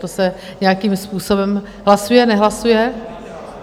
To se nějakým způsobem hlasuje, nehlasuje?